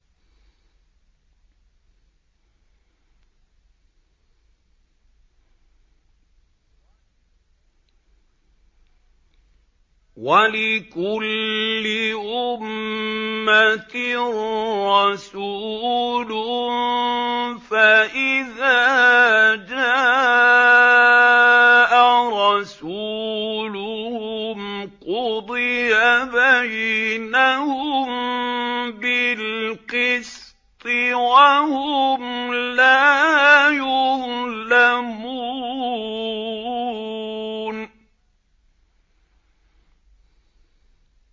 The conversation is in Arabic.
وَلِكُلِّ أُمَّةٍ رَّسُولٌ ۖ فَإِذَا جَاءَ رَسُولُهُمْ قُضِيَ بَيْنَهُم بِالْقِسْطِ وَهُمْ لَا يُظْلَمُونَ